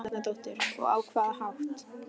Helga Arnardóttir: Og á hvaða hátt?